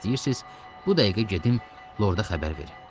İstəyirsiz, bu dəqiqə gedim, Lorda xəbər verim.